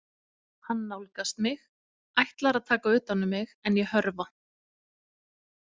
Hann nálgast mig, ætlar að taka utan um mig en ég hörfa.